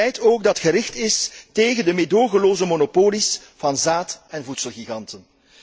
Een beleid ook dat gericht is tegen de meedogenloze monopolies van zaad en voedselgiganten.